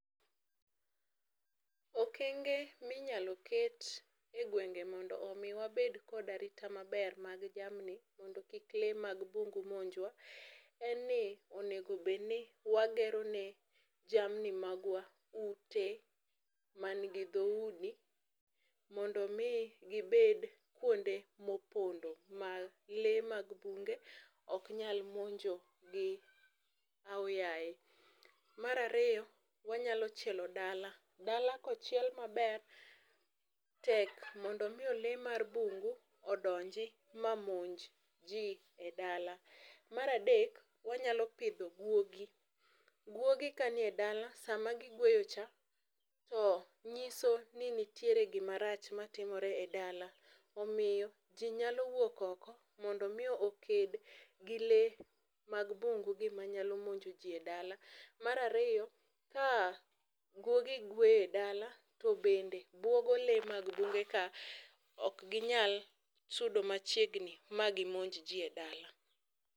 okenge minyalo ket e gwenge mondo mi wabed kod arita maber mag jamni mondo kik lee mag bungu monjwa, en ni onego bedni wagero ne jamni magwa ute man gi dhoudi mondo mi gibed kuonde mopondo ma lee mag bunge ok nyal monjo gi aoyaye. Mar ariyo, wanyalo chielo dala. Dala kochiel maber tek mondo mi lee mar bungu odonji ma monj jii e dala . Mar adek wanyalo pidho guogi. Guogi kani e dala sama gigweyo cha to nyiso ni nitiere gimarach matimore e dala. Omiyo jii nyalo wuok oko mondo mi oked gi lee mag bungu gi manyalo monjo jii e dala . Mar ariyo ka guogi gweyo e dala to bende buogo lee mag bunge ka ok ginyal sudo machiegni ma gimonj jii e dala.